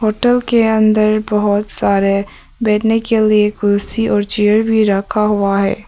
Hotel के अंदर बहुत सारे बैठने के लिए कुर्सी और चेयर भी रखा हुआ है।